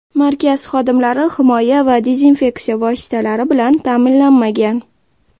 Markaz xodimlari himoya va dezinfeksiya vositalari bilan ta’minlanmagan.